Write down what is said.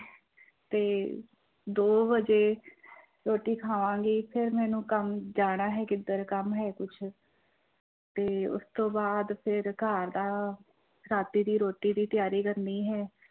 ਤੇ ਦੋ ਵਜੇ ਰੋਟੀ ਖਾਵਾਂਗੀ ਫਿਰ ਮੈਨੂੰ ਕੰਮ ਜਾਣਾ ਹੈ ਕਿੱਧਰ ਕੰਮ ਹੈ ਕੁਛ ਤੇ ਉਸ ਤੋਂ ਬਾਅਦ ਫਿਰ ਘਰ ਦਾ ਰਾਤੀ ਦੀ ਰੋਟੀ ਦੀ ਤਿਆਰੀ ਕਰਨੀ ਹੈ।